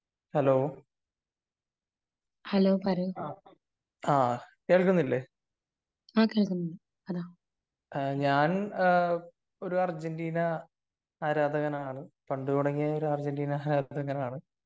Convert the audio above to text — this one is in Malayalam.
ഹലോ ആ കേൾക്കുന്നില്ലേ ഞാൻ ഒരു അർജന്റീന ആരാധകനാണ് പണ്ട് തുടങ്ങിയേ ഒരു അർജന്റീന ആരാധകനാണ്